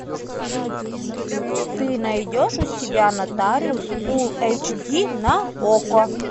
ты найдешь у себя нотариус фулл эйч ди на окко